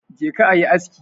Je ka yi aski!